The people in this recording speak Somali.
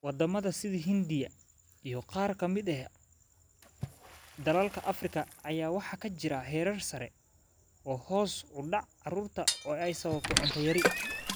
Waddamada sida Hindiya iyo qaar ka mid ah dalalka Afrika ayaa waxaa ka jira heerar sare oo hoos u dhaca carruurta oo ay sababto cunto yari.